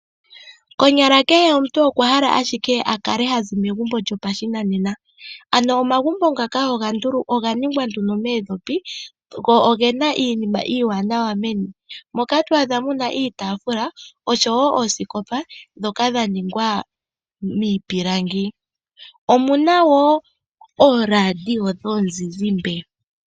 Konyala kehe omuntu okwa hala ashike akale hazi megumbo lyopashinanena ano omagumbo ngaka oga ningwa nduno moondhopi go ogena iinima iiwanawa meni. Moka to adha muna iitaafula oshowo ooskopa ndhoka dha ningwa miipilangi. Omuna woo ooradio dhomuzizimba.